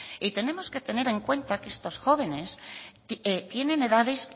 y tenemos que tener en cuenta que estos jóvenes tienen edades